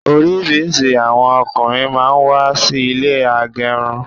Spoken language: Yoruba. Orisirisi àwọn ọkùnrin máa ń wà sí ilé agẹrun